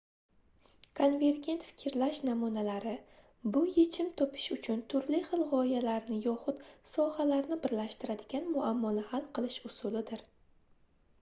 konvergent fikrlash namunalari bu yechim topish uchun turli xil gʻoyalarni yoxud sohalarni birlashtiradigan muammoni hal qilish usulidir